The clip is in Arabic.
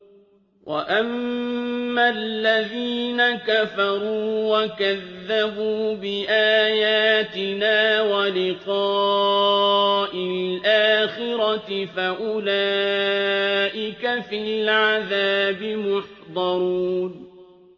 وَأَمَّا الَّذِينَ كَفَرُوا وَكَذَّبُوا بِآيَاتِنَا وَلِقَاءِ الْآخِرَةِ فَأُولَٰئِكَ فِي الْعَذَابِ مُحْضَرُونَ